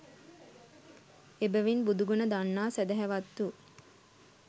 එබැවින් බුදුගුණ දන්නා සැදැහැවත්තු